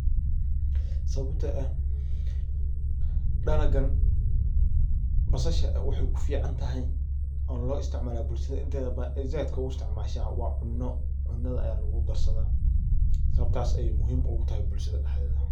Sababto eh dalagan basasha waxay ku fiicantahy oo loo isticmaala bulshada inteeda badan ay zaiidka u istcimaasha waa cuno cunada aya lagudarsada sababtaas ayay muhiim ogu tahay bulshada daxdeeda.